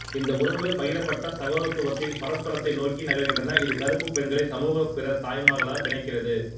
இந்த உறவுகள் பகிரப்பட்ட சகோதரத்துவத்தின் பரஸ்பரத்தை நோக்கி நகர்கின்றன இது கருப்பு பெண்களை சமூக பிற தாய்மார்களாக பிணைக்கிறது